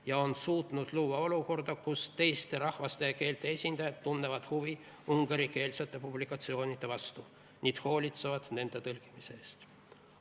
Nad on suutnud luua olukorra, kus teiste rahvaste keelte esindajad tunnevad huvi ungarikeelsete publikatsioonide vastu ja hoolitsevad nende tõlkimise eest.